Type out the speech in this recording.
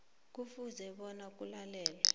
kufuze bona kulalelwe